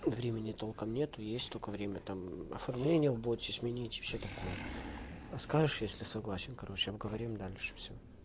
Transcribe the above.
времени толком нет есть только время там оформление в боте сменить и всё такое а скажешь если согласен короче обговорим дальше всё